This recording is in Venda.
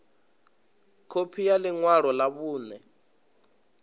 khophi ya ḽi ṅwalo ḽa vhuṋe